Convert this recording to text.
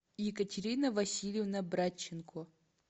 екатерина васильевна братченко